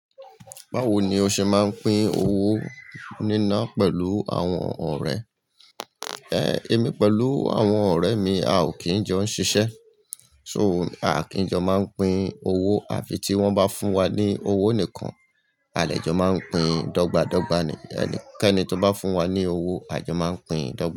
Báwo ni o ṣe máa ń pín owó níná pẹ̀lú àwọn ọ̀rẹ́? E, èmi pẹ̀lú àwọn ọ̀rẹ́ mi, a ò kí ń jọ ń ṣiṣẹ́. So, a kìí n jọ máa ń pín owó. Àfi tí wọ́n bá fún wa ní owó nìkan, a dẹ̀ jọ máa n pín dọ́gba dọ́gba. Ẹnikẹ́ni tó bá fún wa ní owó, a jọ máa pín dọ́gba.